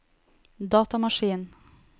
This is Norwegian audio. datamaskin